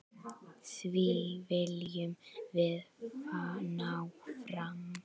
Því viljum við ná fram.